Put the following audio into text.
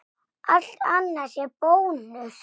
Allt annað sé bónus?